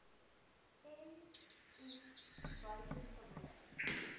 m i buitengewoon